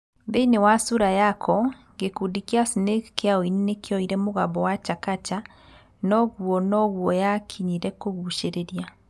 Thĩĩni wa Sura Yako, gĩkundi kĩa snake kĩa ũini nĩ kĩoire mũgambo wa chakacha no ũguo no guo yakinyĩre kũgucĩrĩria.